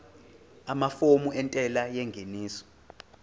amafomu entela yengeniso